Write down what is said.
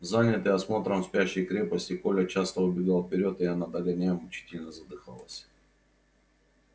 занятый осмотром спящей крепости коля часто убегал вперёд и она догоняя мучительно задыхалась